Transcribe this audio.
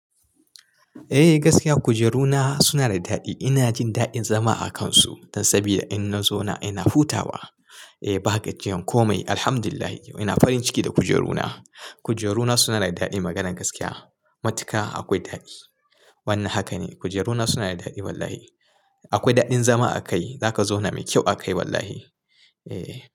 Eh gaskiya kujeruna suna da daɗi. Ina jin daɗin zama a kansu dan saboda in na zauna ina hutawa. Eh ba haka ce jan komai. Alhamdulillah ina farin ciki da kujeruna. Kujeruna suna da daɗi maganan gaskiya. Matuka akwai daɗi. Wannan haka ne kujeruna suna da daɗi wallahi. Akwai daɗin zama a kai. Za ka zauna mai kyau a kai wallahi. Eh.